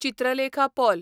Chitralekha Paul